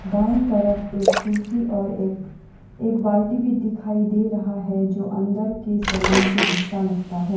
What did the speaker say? दाएं तरफ एक कुर्सी और एक एक बाल्टी भी दिखाई दे रहा है जो अंदर के सलोंन के हिस्सा लगता है।